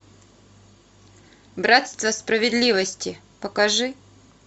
братство справедливости покажи